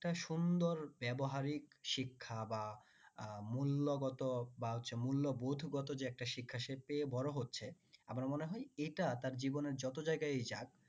একটা সুন্দর ব্যবহারিক শিক্ষা বা আহ মূল্যগত বা মূল্যবোধ গত যে শিক্ষা সে পেয়ে বড় হচ্ছে আমার মনে হয় এটা তার জীবনে যত জায়গায়ই যাক